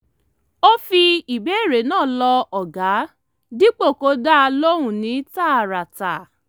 ó fi ìbéèrè náà lọ ọ̀gá dípò kó dá a lóhùn ní tààràtà